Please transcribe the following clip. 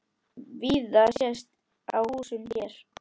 Víða sést á húsum hér.